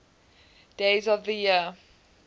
days of the year